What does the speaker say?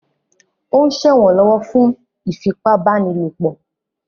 Ó ń ṣẹ̀wọ̀n lọ́wọ́ fún ìfipábánilòpọ̀.